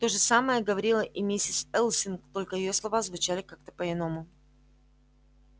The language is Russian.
то же самое говорила и миссис элсинг только её слова звучали как-то по-иному